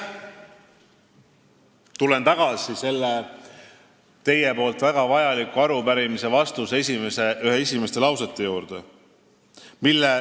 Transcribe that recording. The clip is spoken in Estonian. Tulen tagasi selle teie väga vajaliku arupärimise vastuse esimeste lausete juurde.